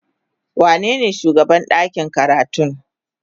Wanene shugaban ɗakin karatu?